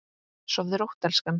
Sofðu rótt elskan.